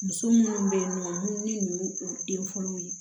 Muso minnu bɛ yen nɔ minnu